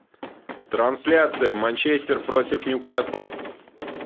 трансляция манчестер против ньюкасла